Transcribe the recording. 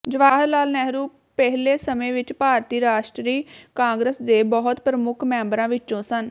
ਜਵਾਹਿਰਲਾਲ ਨਹਿਰੂ ਪਹਿਲੇ ਸਮੇਂ ਵਿੱਚ ਭਾਰਤੀ ਰਾਸ਼ਟਰੀ ਕਾਂਗਰਸ ਦੇ ਬਹੁਤ ਪ੍ਰਮੁੱਖ ਮੈਬਰਾਂ ਵਿੱਚੋਂ ਸਨ